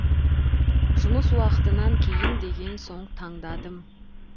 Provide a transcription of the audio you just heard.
жұмыс уақытынан кейін деген соң таңдадым